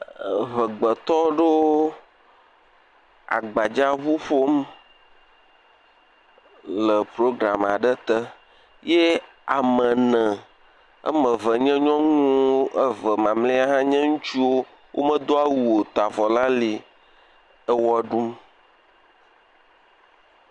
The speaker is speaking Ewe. Eʋe gbe tɔ aɖewo le agbadza ʋu ƒom le ploglam aɖe te. Ye ame ne wòa me eve nye nyɔnu eve ma mle nye ŋutsu o, wo me do awu o sa avɔ le ali le wɔ ɖum.